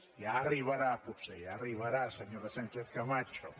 ja hi arribarà potser ja hi arribarà senyora sánchez camacho